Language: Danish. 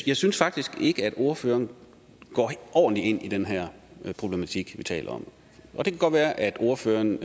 jeg synes faktisk ikke at ordføreren går ordentligt ind i den her problematik vi taler om det kan godt være at ordføreren